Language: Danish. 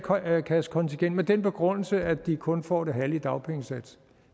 kassekontingent med den begrundelse at de kun får det halve i dagpengesats